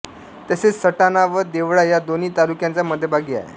तसेच सटाणा व देवळा या दोन्ही तालूक्यांच्या मध्यभागी आहे